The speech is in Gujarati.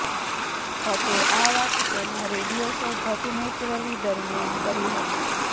ભટ્ટે આ વાત તેના રેડિયો શો ભટ્ટ નેચરલી દરમિયાન કરી હતી